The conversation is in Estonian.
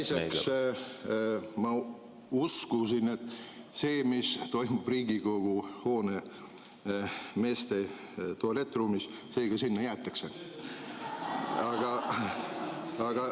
Teiseks, ma uskusin, et see, mis toimub Riigikogu hoone meeste tualettruumis, sinna ka jäetakse.